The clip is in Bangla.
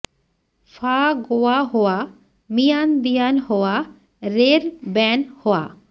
ফা গোয়া হোয়া মিয়ান দিয়ান হোয়া রের ব্যন হোয়া